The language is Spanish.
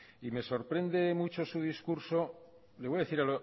y me sorprende mucho su discurso le voy a decir